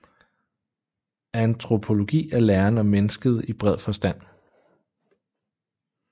Antropologi er læren om mennesket i bred forstand